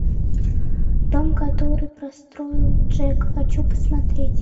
дом который построил джек хочу посмотреть